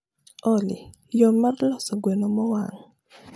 olly yo mar losos gweno mowang